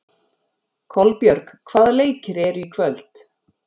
Kolbjörg, hvaða leikir eru í kvöld?